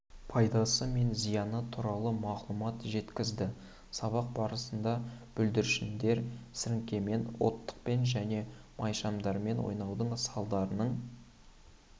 пайдасы мен зияны туралы мағлұмат жеткізді сабақ барысында бүлдіршіндер сіріңкемен оттықпен және майшамдармен ойнаудың салдарының